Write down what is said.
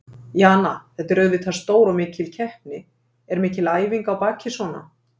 Jana, þetta er auðvitað stór og mikil keppni, er mikil æfing á baki svona?